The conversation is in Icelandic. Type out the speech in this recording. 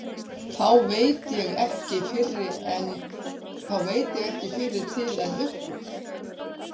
Þá veit ég ekki fyrri til en upp úr